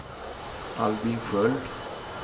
Albin Sköld